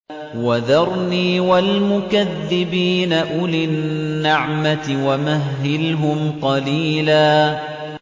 وَذَرْنِي وَالْمُكَذِّبِينَ أُولِي النَّعْمَةِ وَمَهِّلْهُمْ قَلِيلًا